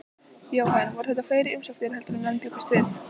Jóhann, voru þetta fleiri umsóknir heldur en menn bjuggust við?